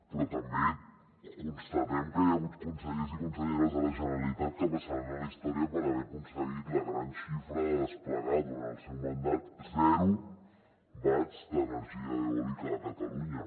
però també constatem que hi ha hagut consellers i conselleres de la generalitat que passaran a la història per haver aconseguit la gran xifra de desplegar durant el seu mandat zero watts d’energia eòlica a catalunya